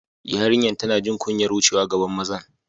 Yariyan tanna jin kunyar wucewa gaban mazan.